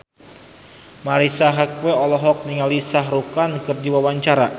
Marisa Haque olohok ningali Shah Rukh Khan keur diwawancara